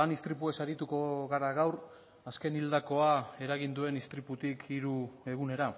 lan istripuez arituko gara gaur azken hildakoa eragin duen istriputik hiru egunera